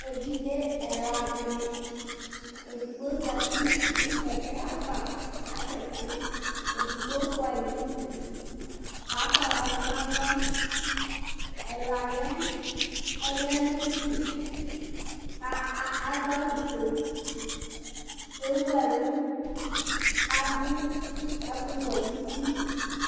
evidzé ɛlã dini édigbo zati nũ kɛkɛ ava asɛti edïgbo fũai nudu kakɔayla du nalɔ ɛlaniɛ niɛ ɔya naidu ka a duawufué kadũ ɛkuwuẽ nu tï